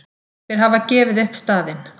Þeir hafa gefið upp staðinn!